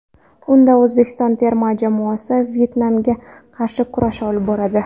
Unda O‘zbekiston terma jamoasi Vyetnamga qarshi kurash olib boradi.